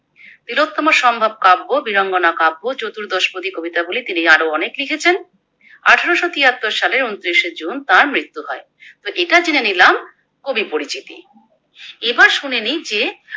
তিলোত্তমাসম্ভব কাব্য, বীরাঙ্গনা কাব্য চতুর্দশপদী কবিতা গুলি তিনি আরো লিখেছেন। আঠারোশো তিয়াত্তর সালে ঊনত্রিশে জুন তার মৃত্যু হয়। তো এটা জেনেনিলাম কবি পরিচিতি, এবার শুনে নিই যে